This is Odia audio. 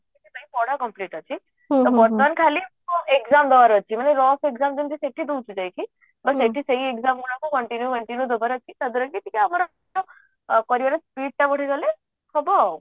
ପଢା complete ଅଛି ବର୍ତ୍ତମାନ ଖାଲି ମୁଁ exam ଦବାର ଅଛି ନହଲେ rough exam ଯେମିତି ସେଠି ଦଉଛି ଯାଇକି but ଏଠି ସେଇ exam ଗୁଡାକ continue continue ଦବାର ଅଛି ତା ଦ୍ଵାରା କି ଆମର କରିବାର speed ଟା ବଢିଗଲେ ହବ ଆଉ